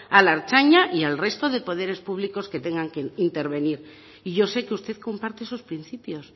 a la ertzaintza y al resto de poderes públicos que tengan que intervenir y yo sé que usted comparte esos principios